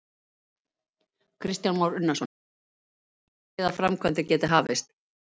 Kristján Már Unnarsson: Hvenær býstu þá við að framkvæmdir geti hafist?